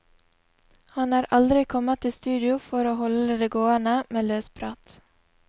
Han er aldri kommet i studio for å holde det gående med løsprat.